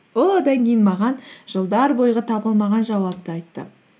ол одан кейін маған жылдар бойғы таба алмаған жауапты айтты